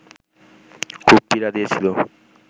খুব পীড়া দিয়েছিল